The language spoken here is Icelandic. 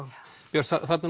Björt þarna er